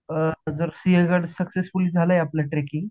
जर Sinhagad successfully झालंय आपल ट्रेकिंग